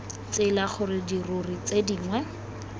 tsela gore dirori tse dingwe